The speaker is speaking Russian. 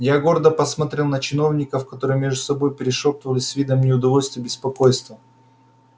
я гордо посмотрел на чиновников которые между собою перешёптывались с видом неудовольствия и беспокойства